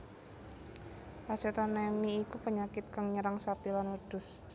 Acetonemi iku penyakit kang nyerang sapi lan wedhus